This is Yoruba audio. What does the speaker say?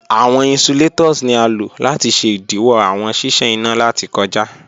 Awọn insulators ni a lo lati ṣe idiwọ awọn ṣiṣan ina lati kọja.